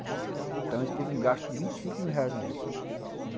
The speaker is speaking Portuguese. Então a gente teve um gasto de vinte e cinco mil reais na época.